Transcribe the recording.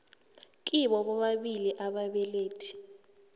kibo bobabili ababelethi